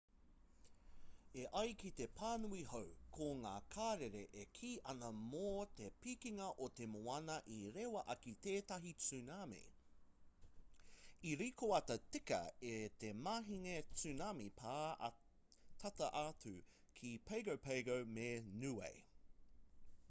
e ai ki te pānui hou ko ngā karere e kī ana mō te pikinga o te moana i rewa ake tētahi tsunami i rikoata tika i te mahinga tsunami pā tata atu ki pago pago me niue